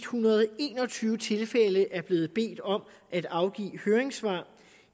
hundrede og en og tyve tilfælde er blevet bedt om at afgive høringssvar